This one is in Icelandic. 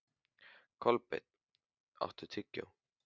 Kolbeinn, áttu tyggjó?